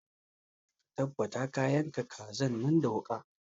Ka tabbata ka yanka kazan da wuƙa!